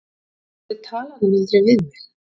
Af hverju talar hann aldrei við mig?